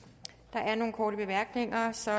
der er nogle korte bemærkninger så